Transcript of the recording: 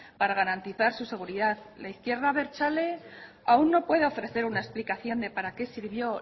para garantizar su seguridad la izquierda abertzale aún no puede ofrecer una explicación de para qué sirvió